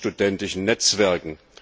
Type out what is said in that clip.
studentischen Netzwerken.